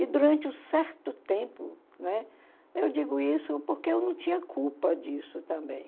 E durante um certo tempo, né, eu digo isso porque eu não tinha culpa disso também.